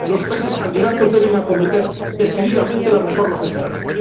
Los países candidatos deben acometer decididamente las reformas necesarias.